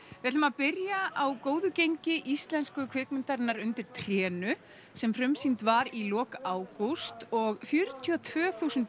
við ætlum að byrja á góðu gengi íslensku kvikmyndarinnar undir trénu sem frumsýnd var í lok ágúst og fjörutíu og tvö þúsund